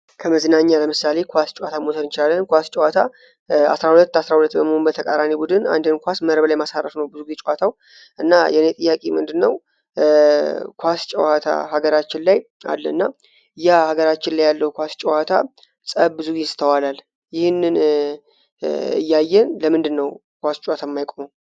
ከመዝናኛ ለምሳሌ ኳስ ጨዋታ ሙተርንቻለን ኳስ ጨዋታ 1ሁለ 1ራሁለ በመንበተቃራኔ ቡድን አንድህን ኳስ መረበ ላይ ማሳረፍ ነው ብዙ ግጫዋታው እና የእኔጥያቂ ምንድ ነው ኳስ ጨዋታ ሀገራችን ላይ አለ እና እያ ሀገራችን ላይ ያለው ኳስ ጨዋታ ጸብ ብዙ ጊስተዋላል ይህን እያየን ለምንድ ነው ኳስ ጨታማይቆሞ፡፡